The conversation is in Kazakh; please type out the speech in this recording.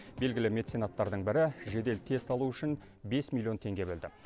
белгілі меценаттардың бірі жедел тест алу үшін бес миллион теңге бөлді